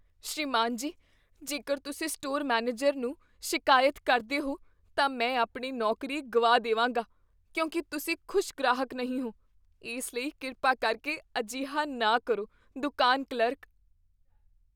ਸ੍ਰੀਮਾਨ ਜੀ, ਜੇਕਰ ਤੁਸੀਂ ਸਟੋਰ ਮੈਨੇਜਰ ਨੂੰ ਸ਼ਿਕਾਇਤ ਕਰਦੇ ਹੋ, ਤਾਂ ਮੈਂ ਆਪਣੀ ਨੌਕਰੀ ਗੁਆ ਦੇ ਵਾਂਗਾ ਕਿਉਂਕਿ ਤੁਸੀਂ ਖੁਸ਼ ਗ੍ਰਾਹਕ ਨਹੀਂ ਹੋ, ਇਸ ਲਈ ਕਿਰਪਾ ਕਰਕੇ ਅਜਿਹਾ ਨਾ ਕਰੋ ਦੁਕਾਨ ਕਲਰਕ